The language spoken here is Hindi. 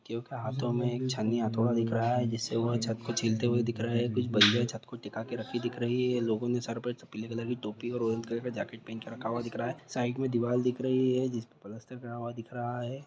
क्यूँकि हाथों मे छेनी हथोड़ा दिख रहा है जिस से वो छत को छिलते हुए दिख रहे हैं। कुछ बलिया छत को टीका के रखी दिख रही हैं । लोगों ने सर पे पीले कलर की टोपी और ऑरेंज कलर का जैकिट पहन कर रखा हुआ है। साइड में दीवार दिख रही है। जिस पे प्लास्टर करा हुआ दिख रहा है।